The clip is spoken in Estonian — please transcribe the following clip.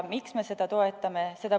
Miks me seda toetame?